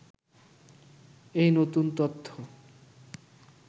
এই নতুন তথ্য